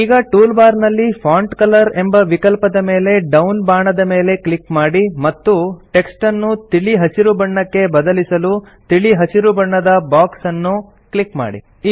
ಈಗ tool bar ನಲ್ಲಿ font colour ಎಂಬ ವಿಕಲ್ಪದ ಮೇಲೆ ಡೌನ್ ಬಾಣದ ಮೇಲೆ ಕ್ಲಿಕ್ ಮಾಡಿ ಮತ್ತು ಟೆಕ್ಸ್ಟನ್ನು ತಿಳಿ ಹಸಿರು ಬಣ್ಣಕ್ಕೆ ಬದಲಿಸಲು ತಿಳಿ ಹಸಿರು ಬಣ್ಣದ ಬಾಕ್ಸ್ ಅನ್ನು ಕ್ಲಿಕ್ ಮಾಡಿ